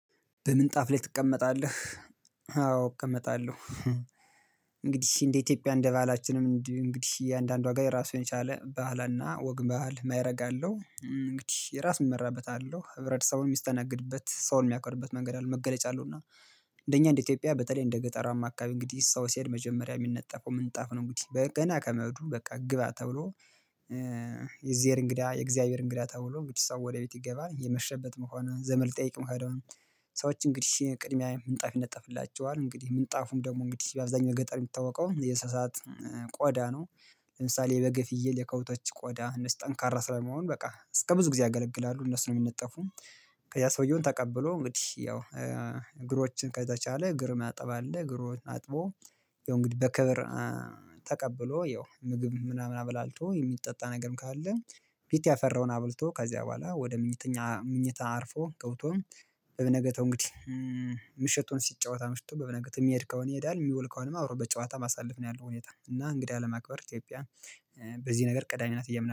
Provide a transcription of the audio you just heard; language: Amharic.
በምንጣፍ ላይ ትቀመጣለህ? አዎ እቀመጣለሁ። እንግዲህ እንደ ኢትዮጵያ እንደ ባህላችንም እንግዲህ እያንዳንዱ ሀገር የራሱን የቻለ ባህልና ወግ ባህል ወግ ማይረግ አለው እንግዲህ የራሱ የሚመራበት አለሁ ህብረተሰቡን የሚስተናግድበት ሰውን የሚያክርበት መንገድ አለ መገለጫ አለው። እና እንደኛ እንደ ኢትዮጵያ በተለይ እንደ ገጠራማ አካባቢ እንግዲህ ሰው ሲሄድ መጀመሪያ የሚነጠፈው ምንጣፍ ነው። እንግዲህ ገና ከመሄዱ በቃ ግባ ተብሎ የእግዜር እንግዳ የእግዚአብሔር እንግዳ ተብሎ እንግዲህስ ሰው ወደ ቤት ይገባ የመሸበትም ሆኑ ዘመድ ሊጠይቅ ሄደ። ሰዎች እንግዲህ ቅድሚያ ምንጣፍ ይነጠፍላቸዋል እንግዲህ ምንጣፉም ደግሞ እንግዲህ አብዛኛው ገጠር የሚታወቀው የእስሳት ቆዳ ነው። ለምሳሌ የበግ የፍየል የከብቶች ቆዳ የነሱ ጠንካራ ስለመሆነ በቃ እስከብዙ ጊዜ ያገለግላሉ እነሱን ነው የምንጠፉም። ከያ ሰውየውን ተቀብሎ እንግዲህ ያው እግሮችን ከተቻለ እግር ማጠብ አለ። እግሮ አጥቦ የሆነ እንግዲህ በክብር ተቀብሎ ይኸው ምግብ ምናምን አበላልቶ የሚጠጣ ነገርም ካለ። ቤት ያፈራውን አበልቶ ከዚያ በኋላ ወደ ሚተኛ ምኝታ አርፎ ገብቶ። በነገታው እንግዲህ ምሽቱን ሲጫወት አምሽቶ በበነገት የሚሄድ ከሆነ ይሄዳል። የሚወል ከሆነ አብሮ በጨዋታ ማሳለፍ ነው ያለው ሁኔታ እና እንግዳ ለማክበር ኢትዮጵያ። በዚህ ነገር ቀዳሚናት ብዬ አምናለው